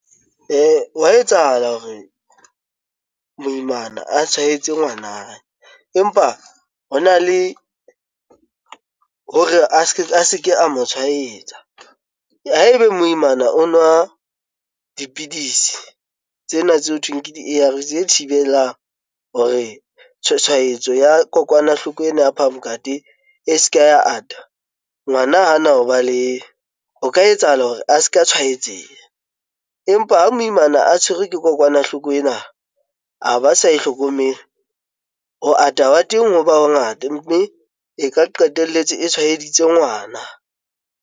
Ho a etsahala hore moimana a tshwaetse ngwana, empa hona le hore a se ke a mo tshwaetsa. Haebe moimana o nwa dipidisi tsena tse ho thweng ke A_R_V_S tse thibelang hore tshwaetso ya kokwanahloko ena ya phamokate e se ke ya ata ngwana hana ho ba le o ka etsahala hore a se ke a tshwaetseha, empa ha moimana a tshwerwe ke kokwanahloko ena a ba sa ihlokomele ho ata wa teng ha ba bangata mme e ka qetelletse o tshwaeditse ngwana.